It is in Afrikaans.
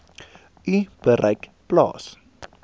u bereik plaas